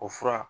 O fura